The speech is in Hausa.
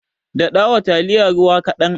Daɗawa taliyar ruwa kaɗan.